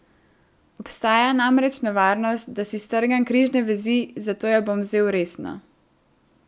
Obstaja namreč nevarnost, da si strgam križne vezi, zato jo bom vzel resno.